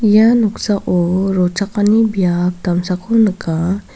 ia noksao rochakani biap damsako nika.